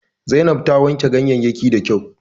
Zainab ta wanke ganyeyyakin da kyau